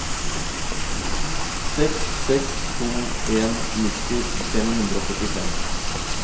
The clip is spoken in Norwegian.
seks seks to en nitti fem hundre og syttifem